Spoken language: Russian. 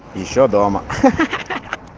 ещё дома ха ха